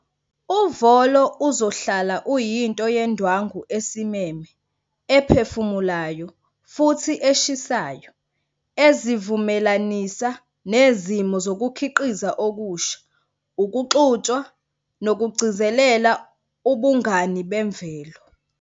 Uvolo uzohlala uyinto yendwangu esimeme ephefumulayo futhi eshisayo, ezivumelanisa nezimo zokukhiqiza okusha, ukuxutshwa nokugcizelela ubungani bemvelo.